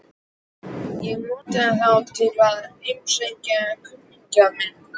Ég notaði þá til að heimsækja kunningja mína.